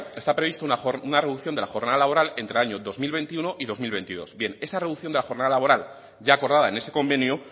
está previsto una reducción de la jornada laboral entre el año dos mil veintiuno y dos mil veintidós bien esa reducción de la jornada laboral ya acordada en ese convenio